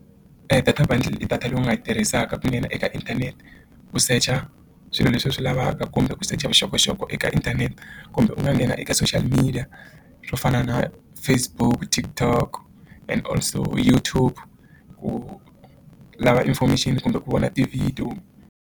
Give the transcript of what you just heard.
Data bundle i data leyi u nga yi tirhisaka ku nghena eka inthanete ku secha swilo leswi hi swi lavaka kumbe ku secha vuxokoxoko eka inthanete kumbe u nga nghena eka social media swo fana na Facebook TikTok and old also Youtube ku lava information kumbe ku vona ti-video.